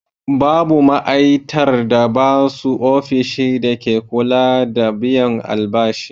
Babu ma'aitar da babu ofishin dake kula da biyan albashi.